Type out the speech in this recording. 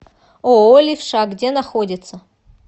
ооо левша где находится